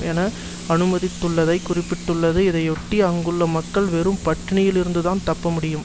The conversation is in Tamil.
என அனுமதித்துள்ளதை குறிப்பிட்டுள்ளது இதையொட்டி அங்குள்ள மக்கள் வெறும் பட்டினியில் இருந்துதான் தப்பமுடியும்